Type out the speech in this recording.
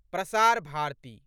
Prasar Bharati